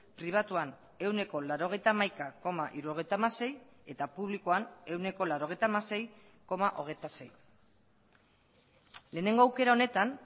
pribatuan ehuneko laurogeita hamaika koma hirurogeita hamasei eta publikoan ehuneko laurogeita hamasei koma hogeita sei lehenengo aukera honetan